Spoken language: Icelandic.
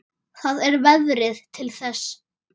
Það er veðrið til þess.